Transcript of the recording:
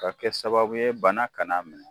Ka kɛ sababu ye bana kan'a minɛ.